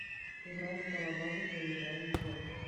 игра металлобаза поиграем в